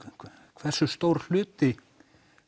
hversu stór hluti